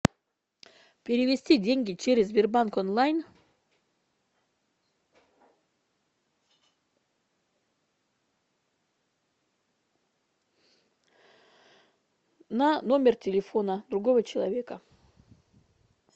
перевести деньги через сбербанк онлайн на номер телефона другого человека